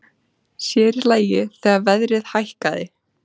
Sér í lagi þegar verðið hækkaði.